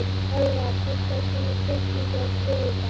Valva, pantaðu tíma í klippingu á þriðjudaginn.